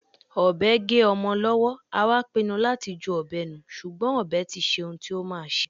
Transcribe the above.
Ọbẹ gé ọmọ lọwọ, a wá pínnú lati jú ọbẹ nù, ṣùgbọ́n ọbẹ tiṣé ń tí o má ṣé.